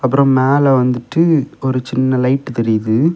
அப்புறம் மேல வந்துட்டு ஒரு சின்ன லைட் தெரியுது.